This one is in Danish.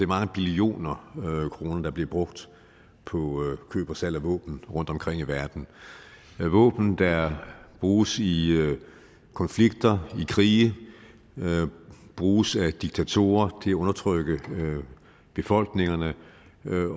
mange billioner kroner der bliver brugt på køb og salg af våben rundtomkring i verden våben der bruges i konflikter i krige bruges af diktatorer til at undertrykke befolkningerne